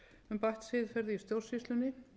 um bætt siðferði í stjórnsýslunni